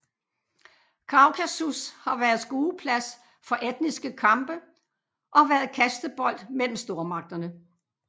Kaukasus har været skueplads for etniske kampe og har været kastebold mellem stormagterne